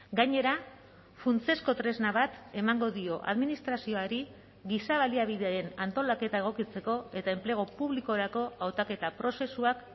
gainera funtsezko tresna bat emango dio administrazioari giza baliabideen antolaketa egokitzeko eta enplegu publikorako hautaketa prozesuak